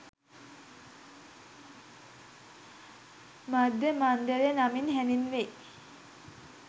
මධ්‍ය මණ්ඩලය නමින් හැඳින්වෙයි.